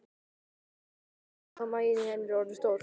Það sjá allir hvað maginn á henni er orðinn stór.